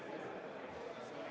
Läheme päevakorra juurde.